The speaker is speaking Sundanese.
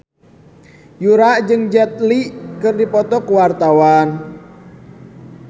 Yura jeung Jet Li keur dipoto ku wartawan